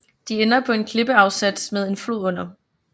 De ender på en klippeafsats med en flod under